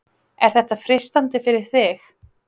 Er þetta freistandi fyrir þig?